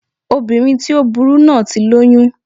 Obìnrin tí ó burú náà ti lóyún